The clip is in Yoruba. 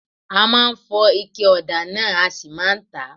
A máa fọ ige ọ̀dà náà a sì máa tà á.